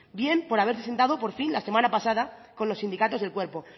bien por haberse sentado por fin la semana pasado con los sindicatos del cuerpo